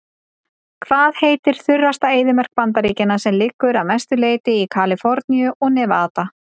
Hvað heitir þurrasta eyðimörk Bandaríkjanna sem liggur að mestu leyti í Kaliforníu og Nevada?